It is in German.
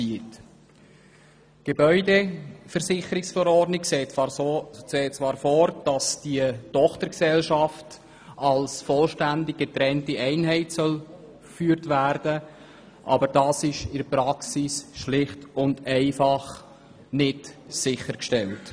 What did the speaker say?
Die Gebäudeversicherungsverordnung sieht zwar vor, dass die Tochtergesellschaft als vollständig getrennte Einheit geführt werden soll, aber das ist in der Praxis nicht sichergestellt.